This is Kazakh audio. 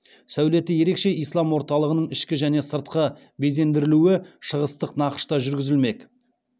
сәулеті ерекше ислам орталығының ішкі және сыртқы безендірілуі шығыстық нақышта жүргізілмек